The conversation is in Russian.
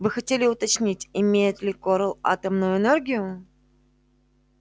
вы хотели уточнить имеет ли корел атомную энергию